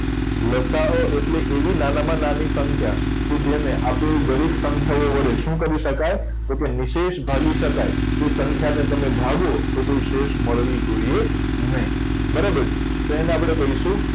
લ. સા. અ એટલે એવી નાનામાં નાની સંખ્યા કે જેને આપેલી દરેક સંખ્યાઓ વડે શું કરી શકાય જો કે નિશેષ ભાગી શકાય આપેલ સંખ્યાને તમે ભાગો તો નિશેષ મળવી જોઈએ નહીં બરાબર છે તો એને આપણે કહીશું